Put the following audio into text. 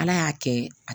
Ala y'a kɛ